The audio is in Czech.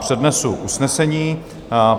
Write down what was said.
Přednesu usnesení: